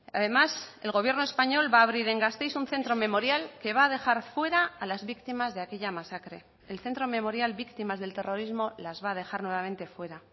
además el gobierno español va a abrir en gasteiz un centro memorial que va a dejar fuera a las víctimas de aquella masacre el centro memorial víctimas del terrorismo las va a dejar nuevamente fuera